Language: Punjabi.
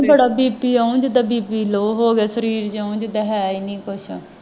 ਬੜਾ BP ਇਉਂ ਜਿਦਾਂ BP low ਹੋਵੇ ਸਰੀਰੀ ਜਿਉਂ ਜਿਦਾਂ ਹੈ ਹੀ ਨਹੀਂ ਕੁਛ